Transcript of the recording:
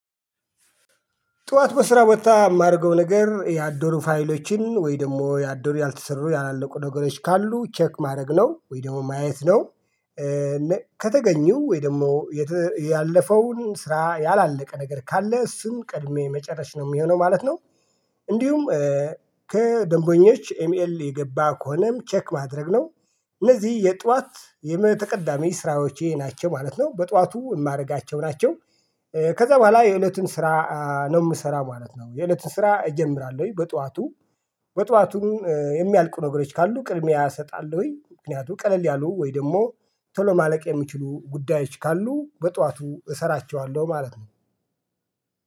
ጠዋት በስራ ቦታ የማደርገው ነገር ያደሩ ፋይሎችን ወይ ደግሞ ያደሩ ያልተሰሩ ያላለቁ ነገሮች ካሉ ቼክ ማድረግ ነው ወይ ደግሞ ማየት ነው። ከተገኙ ወይ ደግሞ ያለፈውን ስራ ያላለቀ ነገር ካለ እሱን ቀድሜ መጨረሽ ነው የሚሆነው ማለት ነው። እንዲሁም ከደንበኞች ኤሚኤል የገባ ከሆነም ቼክ ማድረግ ነው። እነዚህ የጧት የተቀዳሚ ስራዎች ይሄ ናቸው ማለት ነው በጠዋቱ የማደርጋቸው ናቸው። ከዛ በኋላ የእለቱን ስራ ነው የምሰራው ማለት ነው። የእለትን ስራ እጀምራለሁኝ በጧቱ በጧቱም የሚያልቁ ነገሮች ካሉ ቅድሚያ እሰጣለሁኝ። ምክንያቱም ቀለል ያሉ ወይ ደግሞ ቶሎ ማለቅ የሚችሉ ጉዳዮች ካሉ በጠዋቱ እሰራቸዋለሁ ማለት ነው።